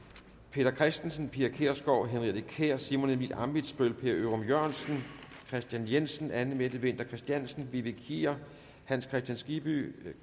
peter christensen pia kjærsgaard henriette kjær simon emil ammitzbøll per ørum jørgensen kristian jensen anne mette winther christiansen vivi kier hans kristian skibby